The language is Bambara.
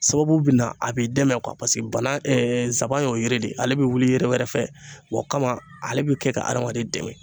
Sababu bina a bi dɛmɛ bana zaban y'o yiri de ye, ale bi wuli yiri wɛrɛ fɛ o ka ale bi kɛ ka adamaden dɛmɛ.